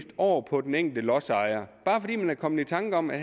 over på den enkelte lodsejer bare fordi man er kommet i tanker om at